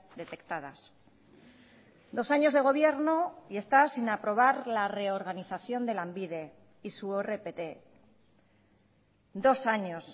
detectadas dos años de gobierno y está sin aprobar la reorganización de lanbide y su rpt dos años